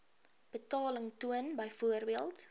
betaling toon byvoorbeeld